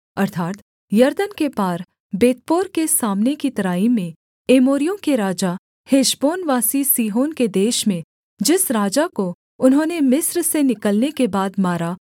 अर्थात् यरदन के पार बेतपोर के सामने की तराई में एमोरियों के राजा हेशबोनवासी सीहोन के देश में जिस राजा को उन्होंने मिस्र से निकलने के बाद मारा